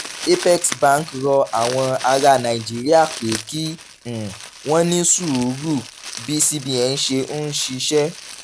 apex bank rọ àwọn ará nàìjíríà pé kí um wọ́n ní sùúrù bí cbn ṣe ń ṣiṣẹ́